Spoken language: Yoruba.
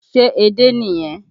Ṣé edé nìyẹn?